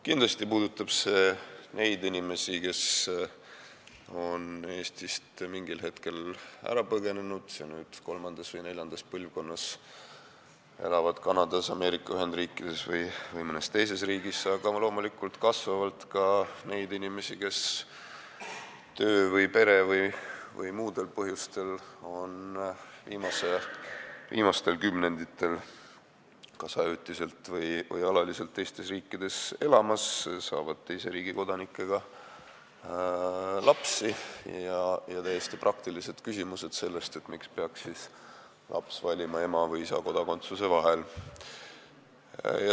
Kindlasti puudutab see neid inimesi, kes on Eestist mingil hetkel ära põgenenud ja kelle kolmas või neljas põlvkond elab nüüd Kanadas, Ameerika Ühendriikides või mõnes teises riigis, aga kasvavalt ka neid inimesi, kes töistel, perekondlikel või muudel põhjustel on viimastel kümnenditel asunud kas ajutiselt või alaliselt elama teistesse riikidesse, saavad teise riigi kodanikega lapsi ja kellel tekivad täiesti praktilised küsimused, miks peaks laps valima ema või isa kodakondsuse vahel.